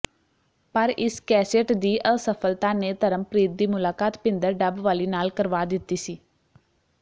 ਪਰ ਇਸ ਕੈਸੇਟ ਦੀ ਅਸਫਲਤਾ ਨੇ ਧਰਮਪ੍ਰੀਤ ਦੀ ਮੁਲਾਕਾਤ ਭਿੰਦਰ ਡੱਬਵਾਲੀ ਨਾਲ ਕਰਵਾ ਦਿੱਤੀ ਸੀ